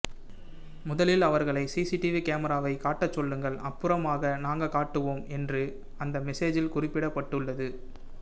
முதலில் அவர்களை சிசிடிவி கேமராவை காட்டச் சொல்லுங்கள் அப்புறமாக நாங்க காட்டுவோம் என்று அந்த மெசேஜில் குறிப்பிடப்பட்டுள்ளது